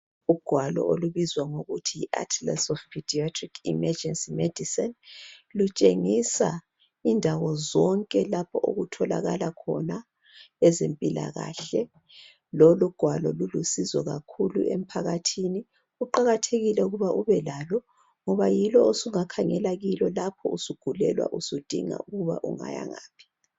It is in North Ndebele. ugwalo olubizwa ngokuthi yi atlas of pediatric emegerncy medicine lutshengisa indawo zonke lapho okutholakala khona ezempilakahle lolugwalo lulusizo kakhulu emphakathi luqakathekile ukuba ubelalo ngoba yilo osungakhangela kilo lapho usugulelwa usudinga ukuba ungayangaphi